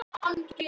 Búðu til edik